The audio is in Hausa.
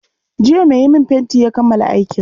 Jiya mai yi min fenti ya kammala aikin.